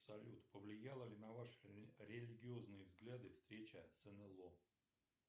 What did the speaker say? салют повлияла ли на ваши религиозные взгляды встреча с нло